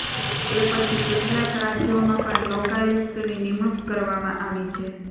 એ પછી કેટલાંક રાજ્યોમાં પણ લોકાયુક્તની નિમણૂક કરવામાં આવી છે